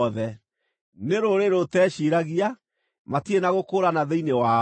Nĩ rũrĩrĩ rũteciiragia, matirĩ na gũkũũrana thĩinĩ wao.